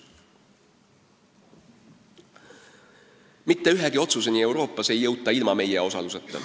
Mitte ühegi otsuseni Euroopas ei jõuta ilma meie osaluseta.